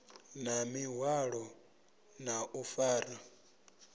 na ḽiṅwalo ḽa u fara